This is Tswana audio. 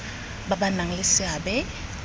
ba ba nang le seabe